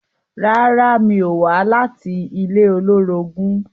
Rárá, mi ò wá láti ilé olórogún